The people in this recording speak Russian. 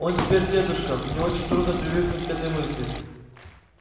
он теперь дедушка мне очень трудно привыкнуть к этой мысли